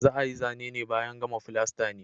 Za ayi Zane ne bayan gama fulasta ne